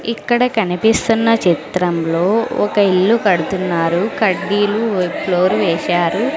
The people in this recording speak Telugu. ఇక్కడ కనిపిస్తున్న చిత్రంలో ఒక ఇల్లు కడుతున్నారు కడ్డీలు ఫ్లోర్ వేశారు.